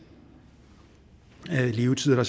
af levetiden og